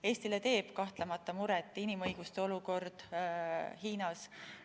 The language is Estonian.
Eestile teeb kahtlemata muret inimõiguste olukord Hiinas.